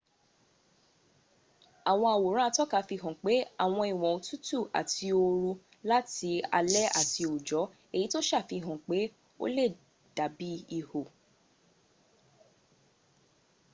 àwọn àwòrán atọ́ka fi hàn pé àwọn ìwọ́n òtútù àti ooru láti alẹ́ àti òòjọ́ èyí tó sàfihàn pé ó le dàbí ihò